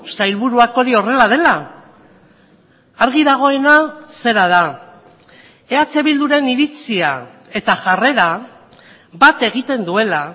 sailburuak hori horrela dela argi dagoena zera da eh bilduren iritzia eta jarrera bat egiten duela